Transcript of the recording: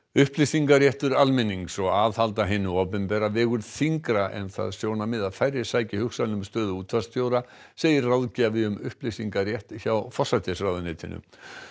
upplýsingaréttur almennings og aðhald að hinu opinbera vegur þyngra en það sjónarmið að færri sæki hugsanlega um stöðu útvarpsstjóra segir ráðgjafi um upplýsingarétt hjá forsætisráðuneytinu